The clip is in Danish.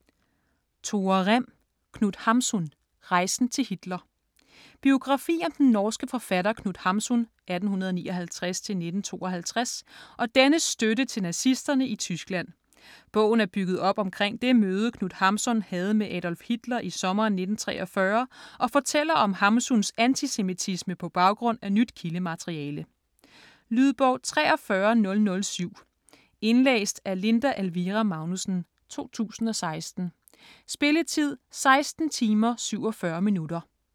Rem, Tore: Knut Hamsun: rejsen til Hitler Biografi om den norske forfatter Knut Hamsun (1859-1952) og dennes støtte til nazisterne i Tyskland. Bogen er bygget op omkring det møde, Knut Hamsun havde med Adolf Hitler i sommeren 1943, og fortæller om Hamsuns antisemitisme på baggrund af nyt kildemateriale. Lydbog 43007 Indlæst af Linda Elvira Magnussen, 2016. Spilletid: 16 timer, 47 minutter.